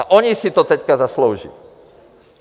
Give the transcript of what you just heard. A oni si to teď zaslouží!